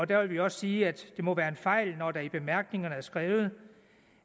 der vil vi også sige at det må være en fejl når der i bemærkningerne er skrevet